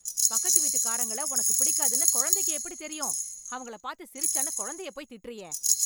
பக்கத்து வீட்டுக்காரங்கள உனக்குப் பிடிக்காதுன்னு கொழந்தைக்கு எப்படித் தெரியும்? அவங்கள பாத்து சிரிச்சான்னு கொழந்தையப் போய் திட்டுறியே?